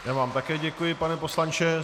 Já vám také děkuji, pane poslanče.